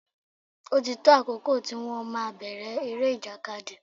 Ó ti tó àkókò tí wón máa bèrè eré ìjàkadì.